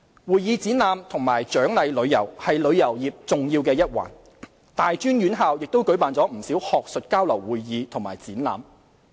會議展覽及獎勵旅遊是旅遊業重要一環，大專院校亦舉辦不少學術交流會議和展覽。